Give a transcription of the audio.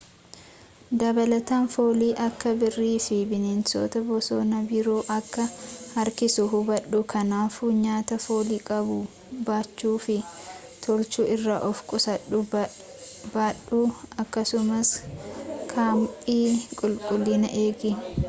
dabalataan fooliin akka biirii fi bineensota bosona biro akka harkisu hubadhu ,kanaafuu nyaata foolii qabu baachuu fi tolchuu irraa of qusadhu babadhu akkasumas kaampii qulqullinaan eegi